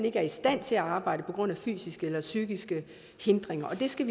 ikke er i stand til at arbejde på grund af fysiske eller psykiske hindringer og det skal